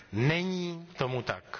Není tomu tak.